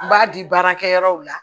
N b'a di baarakɛyɔrɔw la